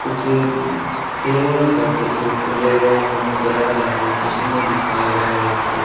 कुछ खेलने का कुछ प्ले ग्राउंड नजर आ रहा है जिसमें दिखाया गया है यहा पे--